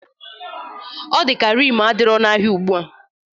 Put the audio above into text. Ọ dị ya ka rim adirọ n'ahịa ugbua.